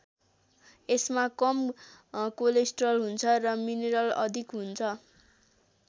यसमा कम कोलेस्ट्रल हुन्छ र मिनरल अधिक हुन्छ।